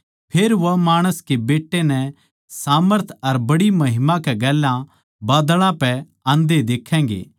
फेर वे माणस के बेट्टे नै सामर्थ अर बड्डी महिमा कै गेल्या बादळां पै आंदे देखैगें